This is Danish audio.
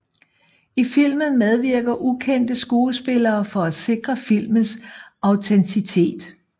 I filmen medvirker ukendte skuespillere for at sikre filmens autenticitet